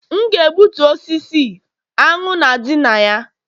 M ga-egbutu osisi, aṅụ na-adị na ya